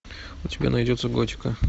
у тебя найдется готика